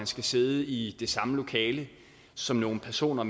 skal sidde i det samme lokale som nogle personer